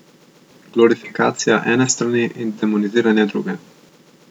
Glorifikacija ene strani in demoniziranje druge.